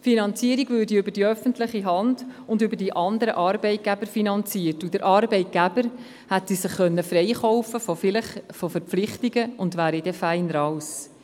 Die Finanzierung würde über die öffentliche Hand und über die anderen Arbeitgeber finanziert, und der Arbeitgeber hätte sich von Verpflichtungen freikaufen können und wäre dann fein raus.